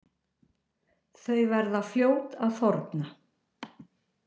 Þau verða fljót að þorna.